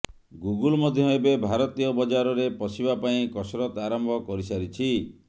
Google ମଧ୍ୟ ଏବେ ଭାରତୀୟ ବଜାରରେ ପଶିବା ପାଇଁ କସରତ ଆରମ୍ଭ କରିସାରିଛି